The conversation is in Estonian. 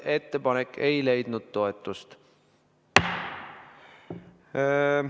Ettepanek ei leidnud toetust.